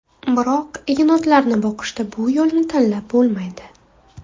Biroq yenotlarni boqishda bu yo‘lni tanlab bo‘lmaydi.